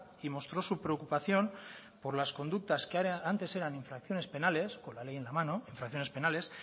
y mostró su preocupación por las conductas que antes eran infracciones penales con la ley en la mano infracciones penales